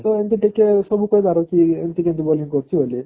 ତ ଏମିତି ଟିକେ ସବୁ କହିବାର କି ଏମିତି କେମିତି bowling କରୁଛି ବୋଲି